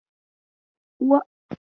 Uwar ce mai dafa abinci ko da yaushe a gidan.